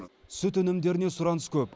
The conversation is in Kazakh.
сүт өнімдеріне сұраныс көп